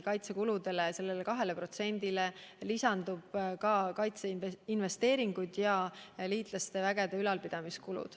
Kaitsekuludele, sellele 2%-le lisanduvad ka kaitseinvesteeringud ja liitlaste vägede ülalpidamise kulud.